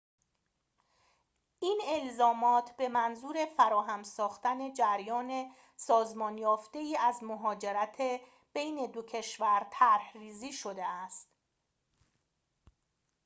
این الزامات به منظور فراهم ساختن جریان سازمان یافته‌ای از مهاجرت بین دو کشور طرح‌ریزی شده است